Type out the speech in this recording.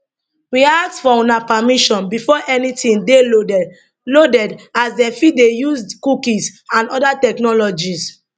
we ask for una permission before anytin dey loaded loaded as dem fit dey use cookies and oda technologies